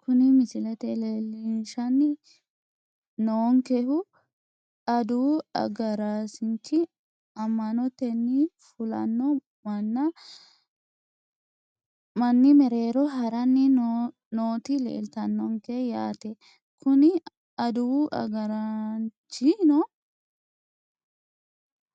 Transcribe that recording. Kuni misilete leelishani noonkehu aduwu agarasinichi ama`noteni fulano mani mereero harani nooti leeltanonke yaate kuni aduwu agaraanchino